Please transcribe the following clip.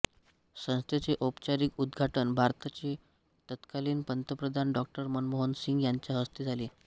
संस्थेचे औपचारिक उद्घाटन भारताचे तत्कालीन पंतप्रधान डॉ मनमोहन सिंह यांच्या हस्ते झाले